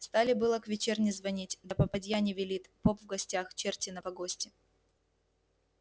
стали было к вечерне звонить да попадья не велит поп в гостях черти на погосте